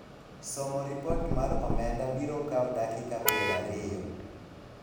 somo ripot mar omenda biro kawo dakika piero ariyo